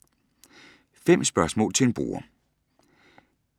5 spørgsmål til en bruger